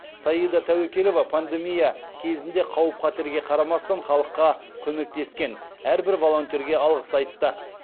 саида тәуекелова пандемия кезінде қауіп қатерге қарамастан халыққа көмектескен әрбір волонтерге алғыс айтты